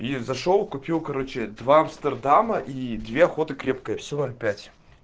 и зашёл купил короче два амстердама и две охота крепкое все ноль пять